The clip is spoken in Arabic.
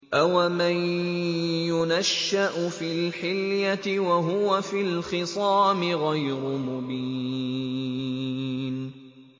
أَوَمَن يُنَشَّأُ فِي الْحِلْيَةِ وَهُوَ فِي الْخِصَامِ غَيْرُ مُبِينٍ